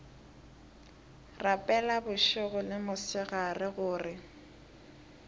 rapela bošego le mosegare gore